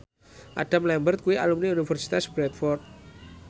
Adam Lambert kuwi alumni Universitas Bradford